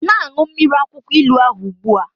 Na-aṅụ mmiri akwụkwọ ilu ahụ ugbu a!